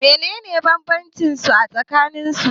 menene bambancinsu a tsakanin su?